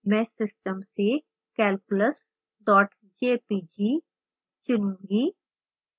मैं system से calculus jpg चुनूंगी